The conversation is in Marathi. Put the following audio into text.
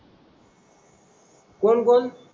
कोण कोण?